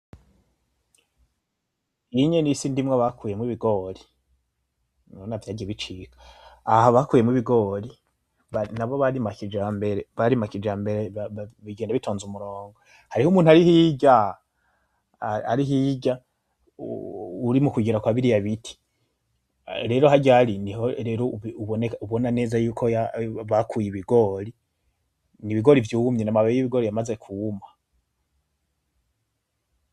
Iyi n'isi ndimwa bakuyemwo ibigori urabona vyagiye bicika aha bakuyemwo ibigori nabo barima kijambere bigenda bitonze umurongo hariho umuntu ari hirya uri mukugera kwabiriya biti rero harya ari niho rero ubona neza yuko bakuye ibigori ni ibigori vyumye ni amababi yibigori yamaze kwuma